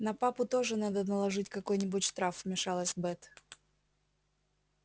на папу тоже надо наложить какой нибудь штраф вмешалась бэт